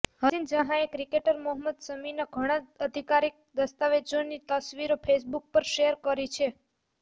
હસીન જહાંએ ક્રિકેટર મોહમ્મદ શમીના ઘણા આધિકારિક દસ્તાવેજોની તસવીરો ફેસબુક પર શેર કરી છે